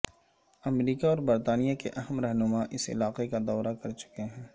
امریکہ اور برطانیہ کے اہم رہنما اس علاقے کا دورہ کر چکے ہیں